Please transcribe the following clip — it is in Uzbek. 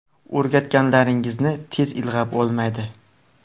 O‘rgatganlaringizni tez ilg‘ab olmaydi.